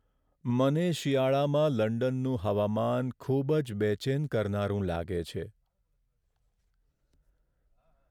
મને શિયાળામાં લંડનનું હવામાન ખૂબ જ બેચેન કરનારું લાગે છે.